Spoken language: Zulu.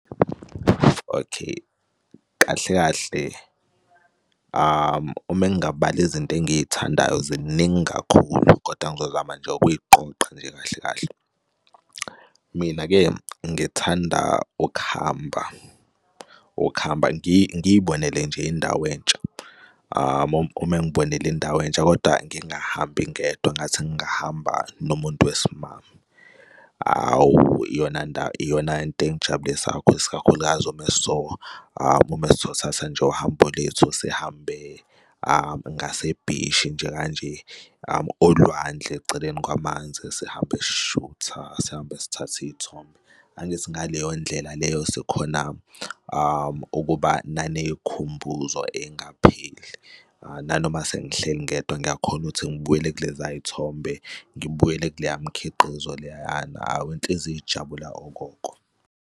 Okay, kahle kahle uma ngingabala izinto engiy'thandayo ziningi kakhulu, kodwa ngizozama nje okuy'qoqa nje kahle kahle. Mina-ke ngithanda ukuhamba, ukuhamba ngiy'bonele nje indawo entsha, uma ngibonela indawo entsha, koda ngingahambi ngedwa ngathi ngingahamba nomuntu wesimame. Hhawu, iyona ndawo, iyon anto engijabulesa kakhulu, isikakhulukazi uma uma sothatha nje uhambo lethu sihambe ngasebhishi nje kanje olwandle eceleni kwamanzi, sihambe sishutha sihambe sithathe iy'thombe. Angithi ngaleyo ndlela leyo sokhona ukuba niney'khumbuzo ey'ngapheli nanoma sengihleli ngedwa, ngiyakhona ukuthi ngibuyele kulezay'thombe, ngibuyele kuleya mkhiqizo leyana. Hhawu inhliziyo ijabula okokoko.